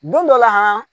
Don dɔ la